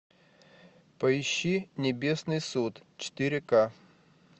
поищи небесный суд четыре к